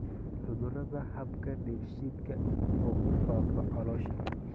Cudurada habka dheefshiidka oo ku faafa caloosha